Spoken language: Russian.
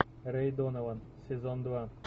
рэй донован сезон два